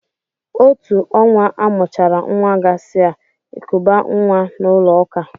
Otú ọnwa amụchara nwa gasị a, ekubaa nwa n'ụlọ ụka.